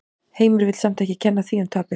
Heimir vill samt ekki kenna því um tapið.